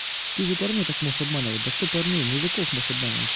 ты же парней так можешь обманывать да что парней мужиков можешь обманывать